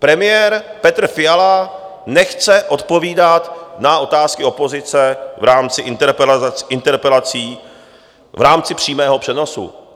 Premiér Petr Fiala nechce odpovídat na otázky opozice v rámci interpelací v rámci přímého přenosu.